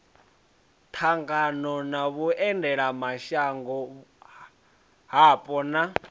ṱangana na vhuendelamashango hapo na